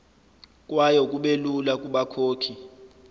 kwayo kubelula kubakhokhi